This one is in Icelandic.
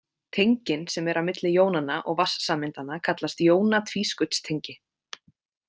Tengin sem eru á milli jónanna og vatnssameindanna kallast jóna-tvískautstengi.